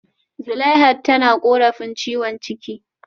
Zuleihat tana korafin ciwon ciki